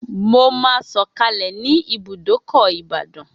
Mo máa sọ̀kalẹ̀ ní ibùdókọ̀ ìbàdàn